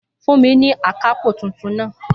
Fúnmi ni akápò tuntun náà